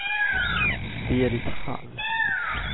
Berit Hall